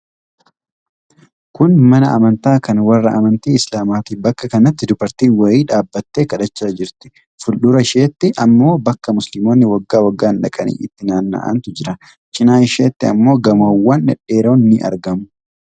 Kun mana amantaa kan warra amatii Islaamaati. Bakka kanatti dubartiin wayii dhaabbattee kadhachaa jirti. Fuuldura isheetti ammoo bakka musliimmonni waggaa waggaan dhaqanii itti naanna'antu jira. Cinaa isheetti ammoo gamoowwan dhedheeroon ni argamu.